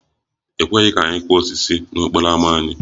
E kweghị ka anyị kụọ osisi n'okporo ámá anyị